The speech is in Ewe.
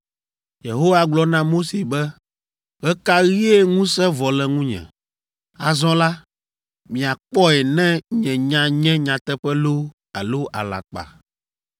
Yehowa gblɔ na Mose be, “Ɣe ka ɣie ŋusẽ vɔ le ŋunye? Azɔ la, miakpɔe ne nye nya nye nyateƒe loo alo alakpa!”